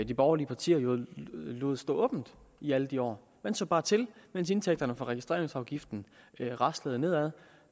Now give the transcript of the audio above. de borgerlige partier jo lod stå åbent i alle de år man så bare til mens indtægterne fra registreringsafgiften raslede nedad